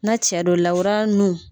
Na cɛ do lawura nun.